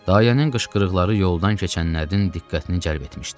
Dayənin qışqırıqları yoldan keçənlərin diqqətini cəlb etmişdi.